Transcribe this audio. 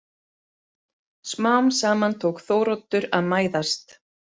Smám saman tók Þóroddur að mæðast.